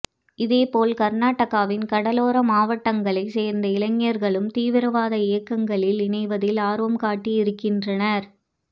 இதேபோல் கர்நாடகாவின் கடலோர மாவட்டங்களைச் சேர்ந்த இளைஞர்களும் தீவிரவாத இயக்கங்களில் இணைவதில் ஆர்வம் காட்டியிருக்கின்றனர்